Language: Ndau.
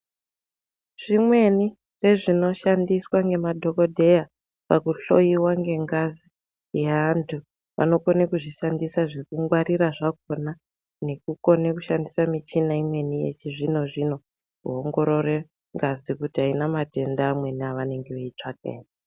Zvimweni ndozvinoshandiswa nemadhokhodheya pakuhloiwa kwengazi yeantu vanokona kuzvishandisa zvekungwarira zvakona nekukona kushandisa muchina imweni yechizvinozvino kuongorora ngazi kuti haina matenda amweni ere avanenge veitsvaka ere.